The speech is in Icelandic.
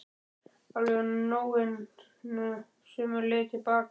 Alveg á nóinu sömu leið til baka.